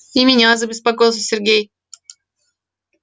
и меня забеспокоился сергей